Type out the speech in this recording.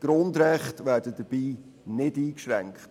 Grundrechte werden dabei keine eingeschränkt.